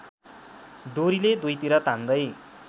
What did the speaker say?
डोरीले दुईतिर तान्दै